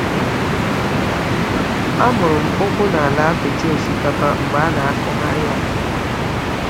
A mụrụ m ụkwụ n’ala apịtị osikapa mgbe a na-akụgharị ya.